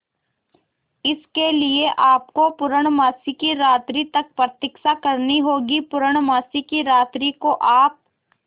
इसके लिए आपको पूर्णमासी की रात्रि तक प्रतीक्षा करनी होगी पूर्णमासी की रात्रि को आप